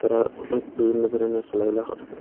আ উহু বিভিন্ন ধরনের খেলাধূলা করসে।